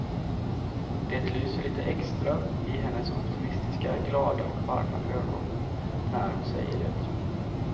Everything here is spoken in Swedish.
Det lyser lite extra i hennes optimistiska, glada och varma ögon när hon säger det.